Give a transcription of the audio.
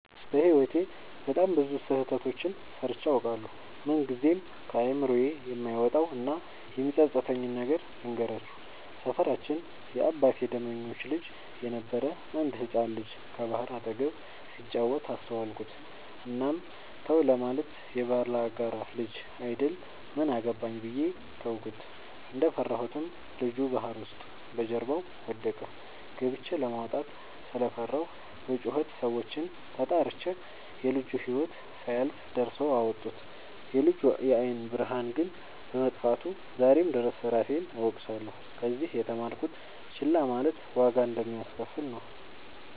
በህይወቴ በጣም ብዙ ስህተቶችን ሰርቸ አውቃለሁ። ምንግዜም ከአይምሮዬ የማይወጣው እና የሚፀፅተኝን ነገር ልንገራችሁ። ሰፈራችን የአባቴ ደመኞች ልጅ የነበረ አንድ ህፃን ልጅ ከባህር አጠገብ ሲጫወት አስተዋልኩት። እናም ተው ለማለት የባላጋራ ልጅ አይደል ምን አገባኝ ብዬ ተውኩት። እንደፈራሁትም ልጁ ባህር ውስጥ በጀርባው ወደቀ። ገብቸ ለማውጣት ስለፈራሁ በጩኸት ሰዎችን ተጣርቸ የልጁ ህይወት ሳያልፍ ደርሰው አወጡት። የልጁ የአይን ብርሃን ግን በመጥፋቱ ዛሬም ድረስ እራሴን እወቅሳለሁ። ከዚህ የተማርኩት ችላ ማለት ዋጋ እንደሚያሰከፍል ነው።